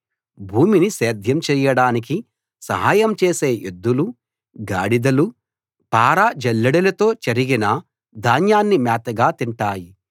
భూమిని సేద్యం చేయడానికి సహాయం చేసే ఎద్దులూ గాడిదలూ పార జల్లెడలతో చెరిగిన ధాన్యాన్ని మేతగా తింటాయి